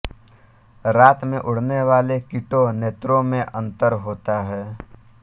रात में उड़नेवाले कीटों नेत्रों में अंतर होता है